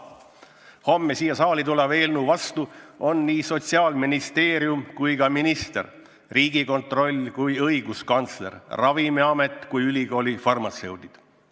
Homme siia saali tuleva eelnõu vastu on nii Sotsiaalministeerium kui ka sotsiaalminister, nii Riigikontroll kui ka õiguskantsler, nii Ravimiamet kui ka ülikooli farmatseudid.